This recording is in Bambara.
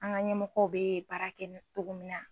An ka ɲɛmɔgɔ bɛ baara kɛ nin cogo min na